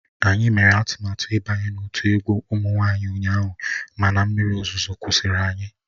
Anyị mere atụmatụ ịbanye n'otu egwu ụmụ nwanyị ụnyaahụ mana mmiri ozuzo kwụsịrị anyị